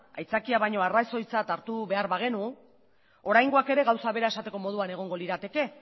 aitzakia baino arrazoitzat hartu behar bagenu oraingoak ere gauza bera esateko moduan egongo lirateke